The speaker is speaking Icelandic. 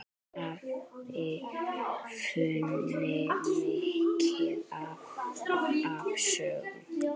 Afi kunni mikið af sögum.